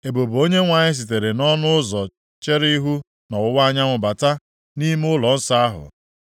Ebube Onyenwe anyị sitere nʼọnụ ụzọ chere ihu nʼọwụwa anyanwụ bata nʼime ụlọnsọ ahụ.